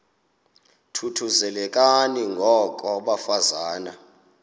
thuthuzelekani ngoko bafazana